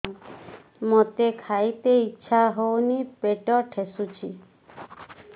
ମୋତେ ଖାଇତେ ଇଚ୍ଛା ହଉନି ପେଟ ଠେସୁଛି